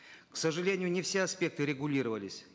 к сожалению не все аспекты регулировались